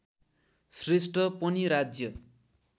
श्रेष्ठ पनि राज्य